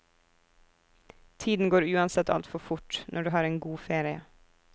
Tiden går uansett altfor fort, når du har en god ferie.